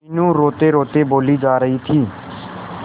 मीनू रोतेरोते बोली जा रही थी